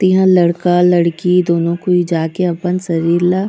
इहाँ लड़का-लड़की दू नो कोई जाके अपन शरीर ला--